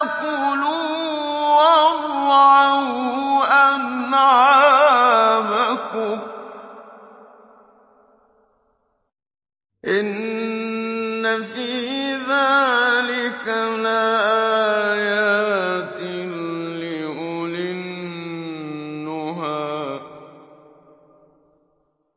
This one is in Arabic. كُلُوا وَارْعَوْا أَنْعَامَكُمْ ۗ إِنَّ فِي ذَٰلِكَ لَآيَاتٍ لِّأُولِي النُّهَىٰ